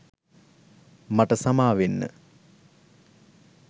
මට සමාවෙන්න